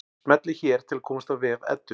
Smellið hér til að komast á vef Eddu.